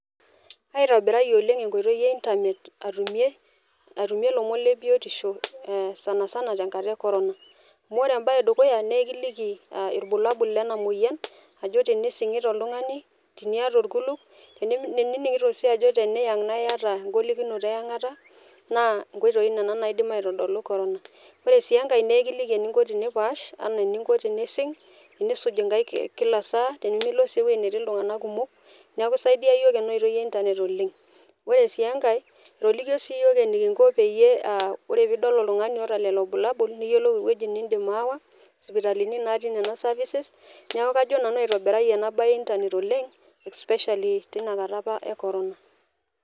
Aitobirayie oleng enkoitoi e internet atumie , atumie ilomon le biotisho ee sanasana tenkata e corona. Amu ore embae edukuya naa ekiliki irbulabul lena moyian ajo tenisingita oltungani , teniata orkulup, teniningito sii ajo teniyang naa iyata engolikinoto eyangata naa inkoitoi nena naidim aitodolu corona. Ore sii enkae naa ekiliki eninko tenipaash anaa eninko tenising , tenisuj inkaik kila saa , tenilo sii ewueji netii iltunganak kumok , neeku isaidia yiook ena oitoi e internet oleng. Ore sii enkae , etolikio sii yiok enikinko peyie ore pidol oltungani oota lelo bulabul , niyiolou ewueji nindim ashomo aawa, sipitalini natii nena services . Niaku nanu ajo aitobirayie ena bae e internet oleng especially tina kata apa e corona.